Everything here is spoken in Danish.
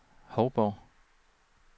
Hovborg